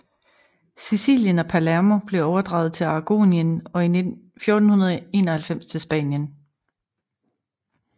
Sicilien og Palermo blev overdraget til Aragonien og i 1491 til Spanien